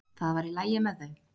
Það var í lagi með þau.